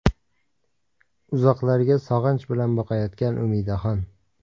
Uzoqlarga sog‘inch bilan boqayotgan Umidaxon.